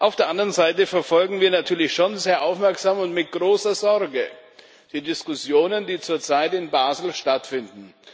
Auf der anderen Seite verfolgen wir natürlich schon sehr aufmerksam und mit großer Sorge die Diskussionen, die zurzeit in Basel stattfinden.